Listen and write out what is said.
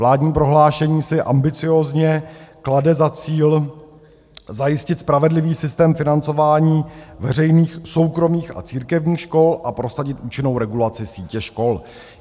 Vládní prohlášení si ambiciózně klade za cíl zajistit spravedlivý systém financování veřejných, soukromých a církevních škol a prosadit účinnou regulaci sítě škol.